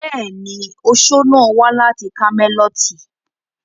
Bẹ́ẹ̀ni, oṣo náà wà láti kámẹ́lọ́tì.